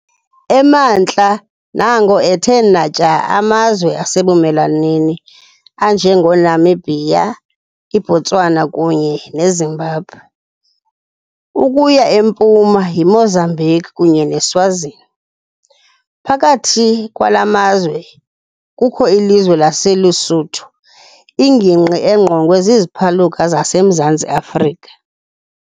Emantla nango ethe natya amazwe asebumelwaneni anjengeNamibia, iBotswana kunye neZimbabwe, ukuya empuma yiMozambique kunye neSwazini, phakathi kwala mazwe kukho ilizwe laseLuSuthu, ingingqi engqongwe ziziphaluka zasemZantsi Afrika.